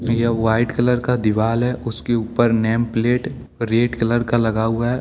यह white colour का दीवाल है। उसके ऊपर नेम प्लेट रेड कलर का लगा हुआ है।